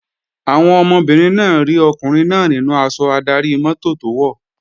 Àwọn ọmọbìnrin náà rí ọkùnrin náà nínú aṣọ adarí-mọ́tò tó wọ̀